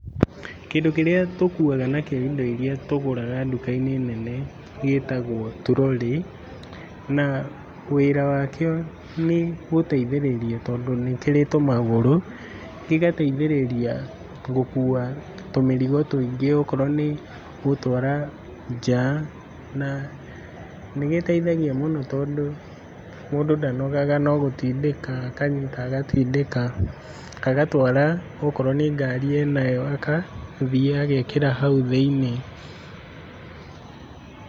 Kĩndũ kĩrĩa tũkuaga nakĩo indo iria tũgũraga nduka-inĩ nene gĩtagwo trolly, na wĩra wakĩo nĩgũteithĩrĩria tondũ nĩ kĩrĩ tũmagũrũ, gĩgateithĩrĩria gũkua tũmĩrigo tũingĩ okorwo nĩ gũtwara nja na nĩgĩteithagia mũno tondũ mũndũ ndanogaga no gũtindĩka akanyita agatindĩka, agatwara okorwo nĩ ngari enayo akathiĩ agekĩra hau thĩiniĩ.